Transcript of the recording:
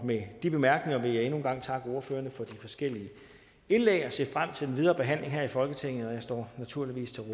med de bemærkninger vil jeg endnu en gang takke ordførerne for de forskellige indlæg og se frem til den videre behandling her i folketinget jeg står naturligvis